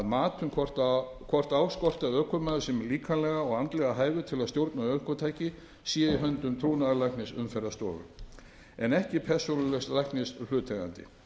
mat um hvort á skorti að ökumaður sé líkamlega og andlega hæfur til að stjórna ökutæki sé í höndum trúnaðarlæknis umferðarstofu en ekki persónulegs læknis hlutaðeigandi